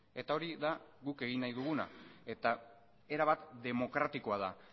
eta hori da guk egin nahi duguna eta erabat demokratikoa da